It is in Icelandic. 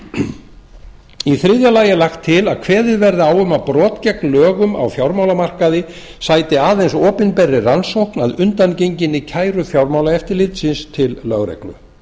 lauk þriðja þá er lagt til að kveðið verði á um að brot gegn lögum á fjármálamarkaði sæti aðeins opinberri rannsókn að undangenginni kæru fjármálaeftirlitsins til lögreglu